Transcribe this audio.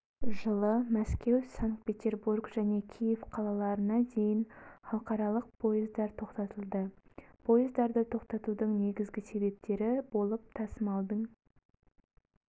жылы мәскеу санкт-петербург және киев қалаларына дейін халықаралық поездар тоқтатылды поездарды тоқтатудың негізгі себептері болып тасымалдың